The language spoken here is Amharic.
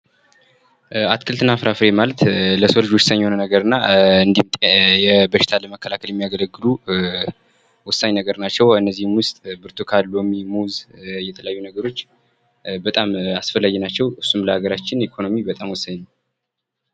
አትክልትና ፍራፍሬ ማለት ለሰው ልጆዎችና ወሳኝ የሆነ አያስፈለጊ ናቸው እሱም ሀገራችን ኢኮኖሚ በጣም ወሳኝ ነው።